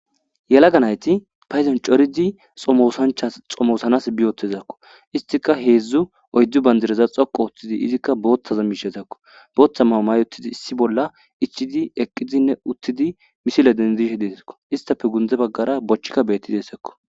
Yalaga nayti phayzan coridi xomoosanchas xomoosanas biyootezakko istika heedzdzu oyddu bandireza xoqo othtidi izikka boottaza miishezakko bootha maamay otidi issi bolla ichidi eqqizinne uttidi misile dendishe deesakko istafe gunde baggara bochikka beetti deesekko.